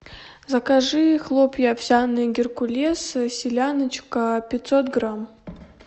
закажи хлопья овсяные геркулес селяночка пятьсот грамм